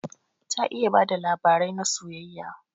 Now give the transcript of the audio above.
Ta iya bada labarai na soyayya.